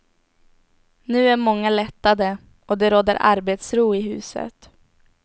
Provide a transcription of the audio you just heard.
Nu är många lättade och det råder arbetsro i huset.